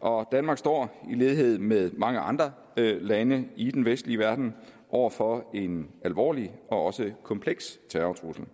og danmark står i lighed med mange andre lande i den vestlige verden over for en alvorlig og kompleks terrortrussel